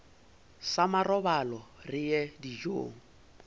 sa marobalo re ye dijong